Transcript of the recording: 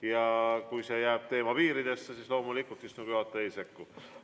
Ja kui see jääb teema piiridesse, siis loomulikult istungi juhataja ei sekku.